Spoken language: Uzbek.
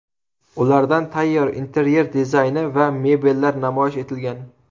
Ularda tayyor interyer dizayni va mebellar namoyish etilgan.